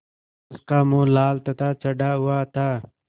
उसका मुँह लाल तथा चढ़ा हुआ था